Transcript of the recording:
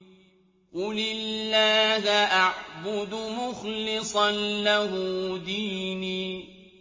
قُلِ اللَّهَ أَعْبُدُ مُخْلِصًا لَّهُ دِينِي